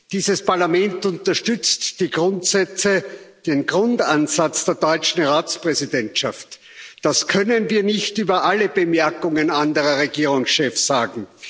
Dieses Parlament unterstützt die Grundsätze, den Grundansatz der deutschen Ratspräsidentschaft. Das können wir nicht über alle Bemerkungen anderer Regierungschefs sagen.